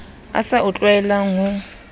a sa o tlwaelang ho